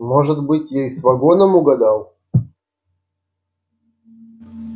может быть я и с вагоном угадал